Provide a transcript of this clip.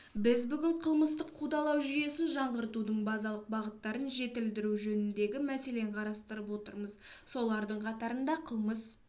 біз бүгін қылмыстық қудалау жүйесін жаңғыртудың базалық бағыттарын жетілдіру жөніндегі мәселені қарастырып отырмыз солардың қатарында қылмыс